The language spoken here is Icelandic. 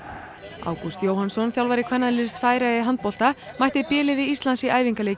Ágúst Jóhannsson þjálfari kvennaliðs Færeyja í handbolta mætti b liði Íslands í æfingaleik í